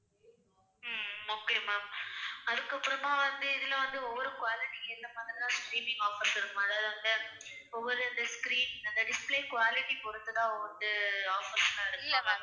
உம் okay ma'am. அதுக்கப்புறமா வந்து இதுல வந்து ஒவ்வொரு quality க்கு ஏத்த மாதிரி தான் offers இருக்குமா? அதாவது அந்த ஒவ்வொரு அந்த screen அந்த display quality பொறுத்துதான் வந்து offers எல்லாம் இருக்குமா ma'am?